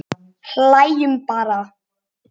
Hlæjum bara.